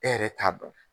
E yɛrɛ t'a dɔn